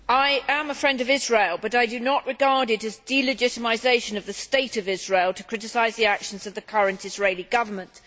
Mr President, I am a friend of Israel, but I do not regard it as delegitimisation of the State of Israel to criticise the actions of the current Israeli Government.